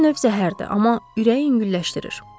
Bir növ zəhərdir, amma ürəyi yüngülləşdirir.